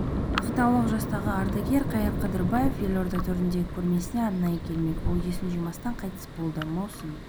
ақтаулық жастағы ардагер қайыр қыдырбаев елорда төріндегі көрмесіне арнайы келмек ол есін жимастан қайтыс болды маусым